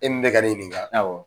E min ka bɛ ka ne ɲininka awƆ